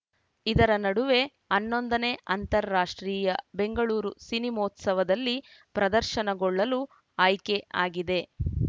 ಇದರ ನಡುವೆ ಹನ್ನೊಂದನೇ ಅಂತಾರಾಷ್ಟ್ರೀಯ ಬೆಂಗಳೂರು ಸಿನಿಮೋತ್ಸವದಲ್ಲಿ ಪ್ರದರ್ಶನಗೊಳ್ಳಲು ಆಯ್ಕೆ ಆಗಿದೆ